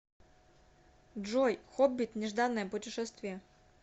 джой хоббит нежданное путешествие